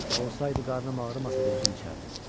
Olsaydı, qarnım ağrımasa da özüm içərdim.